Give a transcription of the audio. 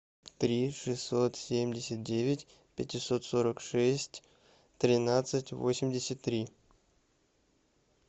три шестьсот семьдесят девять пятьсот сорок шесть тринадцать восемьдесят три